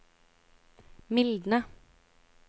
mildne